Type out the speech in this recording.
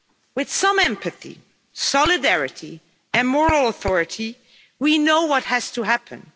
With some empathy, solidarity and moral authority, we know what has to happen.